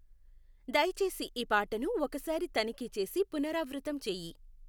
దయచేసి ఈ పాటను ఒకసారి తనిఖీ చేసి పునరావృతం చెయ్యి